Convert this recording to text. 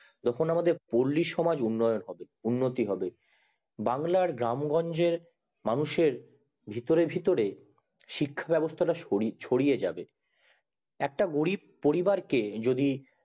যখন আমাদের পল্লী সমাজ উন্নন হবে উন্নতি হবে বাংলার গ্রামগঞ্জে মানুষের ভিতরে ভিতরে শিক্ষা ব্যাবস্তা টা ছাড়িয়ে যাবে একটা গরিব পরিবার কে যদি